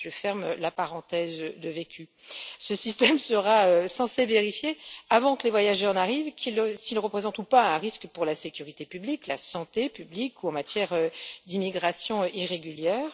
Je ferme la parenthèse de vécu. Ce système sera censé vérifier, avant que les voyageurs n'arrivent, s'ils représentent ou pas un risque pour la sécurité publique, la santé publique ou en matière d'immigration irrégulière.